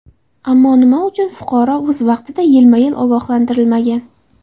Ammo nima uchun fuqaro o‘z vaqtida, yilma yil ogohlantirilmagan?